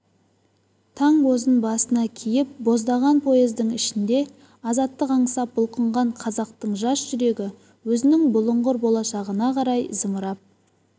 таң бозын басына киіп боздаған поездың ішінде азаттық аңсап бұлқынған қазақтың жас жүрегі өзінің бұлыңғыр болашағына қарай зымырап